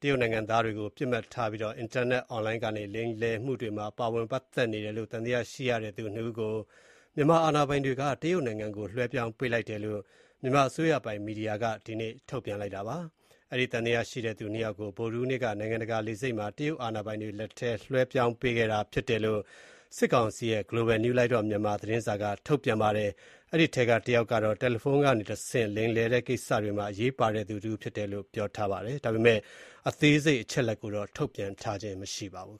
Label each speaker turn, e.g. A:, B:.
A: တရုတ်နိုင်ငံသားတွေကို ပစ်မှတ်ထားပြီးတော့ အင်တာနက်အွန်လိုင်းကနေ လိမ်လည်မှုတွေမှာ ပါဝင်ပတ်သက်နေတယ်လို့ သံသယရှိရတဲ့သူ ၂ ဦးကို မြန်မာအာဏာပိုင်တွေက တရုတ်နိုင်ငံကို လွှဲပြောင်းပေးလိုက်တယ်လို့ မြန်မာအစိုးရပိုင်မီဒီယာက ဒီနေ့ထုတ်ပြန်ပါတယ်။ အဲဒီသံသယရှိတဲ့သူ ၂ ယောက်ကို ဗုဒ္ဓဟူးနေ့က ရန်ကုန်နိုင်ငံတကာလေဆိပ်မှာ တရုတ်အာဏာပိုင်တွေလက်ထဲကို လွှဲပြောင်းပေးခဲ့တာ ဖြစ်တယ်လို့ စစ်ကောင်စီရဲ့ မြန်မာ့အလင်း (The Global New Light of Myanmar) သတင်းစာက ထုတ်ပြန်ပါတယ်။ အဲဒီထဲက တယောက်ကကတော့ တယ်လီဖုန်းကနေတဆင့်လိမ်လည်နေတဲ့ကိစ္စတွေမှာ အရေးပါတဲ့သူတဦးဖြစ်တယ်လို့ ပြောထားပါတယ်။ ဒါပေမဲ့ အသေးစိတ်အချက်အလက်ကိုတော့ ထုတ်ပြန်ထားခြင်းမရှိပါဘူး